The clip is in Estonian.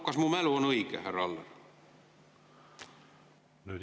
Kas mu mälu on õige, härra Aller?